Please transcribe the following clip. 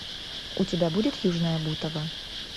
у тебя будет южное бутово